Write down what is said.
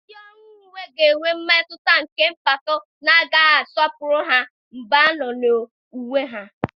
Ndị ọrụ uwe ga-enwe mmetụta nke mpako na a ga-asọpụrụ ha mgbe ha nọ n'uwe ha.